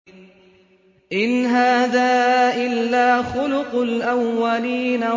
إِنْ هَٰذَا إِلَّا خُلُقُ الْأَوَّلِينَ